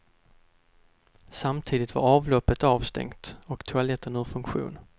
Samtidigt var avloppet avstängt och toaletten ur funktion.